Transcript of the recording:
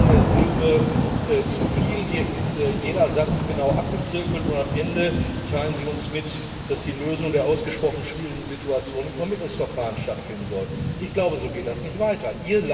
Hier ist keine Silbe zu viel, hier ist jeder Satz genau abgezirkelt, und am Ende teilen Sie uns mit, dass die Lösung der ausgesprochen schwierigen Situation im Vermittlungsverfahren stattfinden soll. So geht das nicht weiter!